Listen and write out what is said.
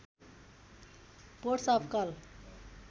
ports of call